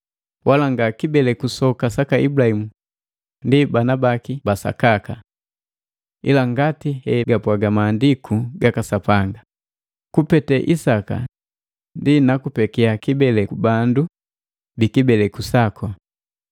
Wala nga kibeleku soka saka Ibulahimu ndi bana baki ba sakaka. Ila ngati hegapwaga Maandiku gaka Sapanga, “Kupete Isaka ndi nakupekia kibeleku bandu bikibeleku saku”